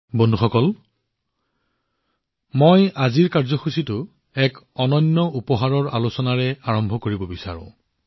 বন্ধুসকল মই এক অনন্য উপহাৰৰ কথা উল্লেখ কৰি আজিৰ কাৰ্যসূচী আৰম্ভ কৰিব বিচাৰিছোঁ